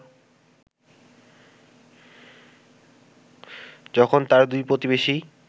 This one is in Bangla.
যখন তার দুই প্রতিবেশী